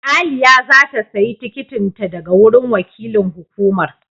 Aliyah za ta sayi tikitin ta daga wurin wakilin hukumar.